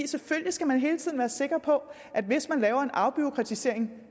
selvfølgelig skal man hele tiden være sikker på at hvis man laver en afbureaukratisering